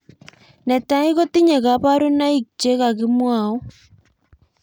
Netai kotinye kabarunoik che kakimwau